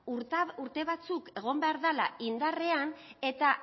urte batzuk egon behar dela indarrean eta